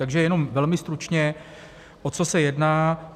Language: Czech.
Takže jenom velmi stručně, o co se jedná.